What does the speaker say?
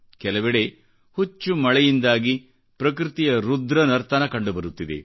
ಕೆಲವೆಡೆ ಹೆಚ್ಚು ಮಳೆಯಿಂದಾಗಿ ಪ್ರಕೃತಿಯ ರುದ್ರ ನರ್ತನ ಕಂಡುಬರುತ್ತಿದೆ